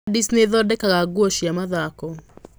Adidas nĩ ĩthondekaga nguo cia mathako.